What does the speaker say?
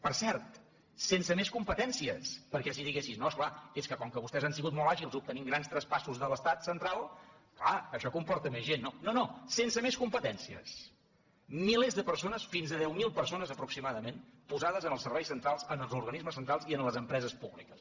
per cert sense més competències perquè si diguessis no és clar és que com que vostès han sigut molt àgils obtenint grans traspassos de l’estat central clar això comporta més gent no no sense més competències milers de persones fins a deu mil persones aproximadament posades en els serveis centrals en els organismes centrals i en les empreses públiques